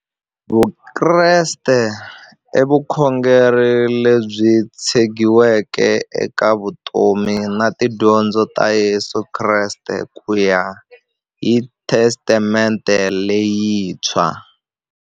Vukreste i vukhongeri lebyi tshegiweke eka vutomi na tidyondzo ta Yesu Kreste kuya hi Testamente leyintshwa.